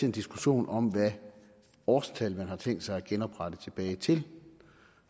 en diskussion om hvilket årstal man har tænkt sig at genoprette tilbage til